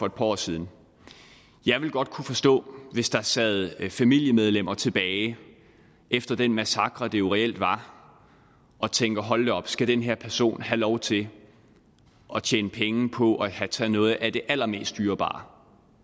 et par år siden jeg ville godt kunne forstå hvis der sad familiemedlemmer tilbage efter den massakre det jo reelt var og tænkte hold da op skal den her person have lov til at tjene penge på at have taget noget af det allermest dyrebare